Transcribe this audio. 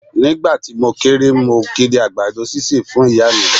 Ni ìgbà tí mo kéré, mo kiri àgbàdo sísè fún Ìyá mi.